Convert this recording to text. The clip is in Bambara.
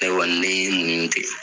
Ne wa n'i y'i muɲu ten.